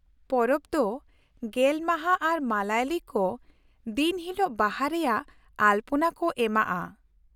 ᱯᱚᱨᱚᱵ ᱫᱚ ᱑᱐ ᱢᱟᱦᱟ ᱟᱨ ᱢᱟᱞᱟᱭᱚᱞᱤ ᱠᱚ ᱫᱤᱱᱦᱤᱞᱳᱜ ᱵᱟᱦᱟ ᱨᱮᱭᱟᱜ ᱟᱞᱯᱚᱱᱟ ᱠᱚ ᱮᱢᱟᱜᱼᱟ ᱾